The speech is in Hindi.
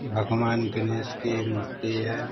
भगवान गणेश की मूर्ति है।